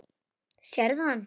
Sérðu hann?